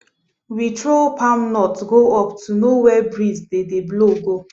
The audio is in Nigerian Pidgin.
we throw palm nut go up to know where breeze dey dey blow go